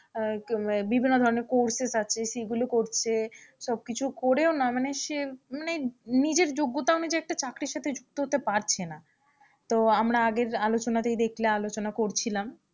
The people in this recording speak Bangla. বিভিন্ন ধরনের courses আছে সেগুলো করছে সবকিছু করেও না মানে সে মানে নিজের যোগ্যতা অনুযায়ী একটা চাকরির সাথে যুক্ত হতে পারছে না তো আমরা আগের আলোচনাতেই দেখলে আলোচনা করছিলাম।